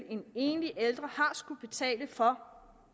en enlig ældre har skullet betale for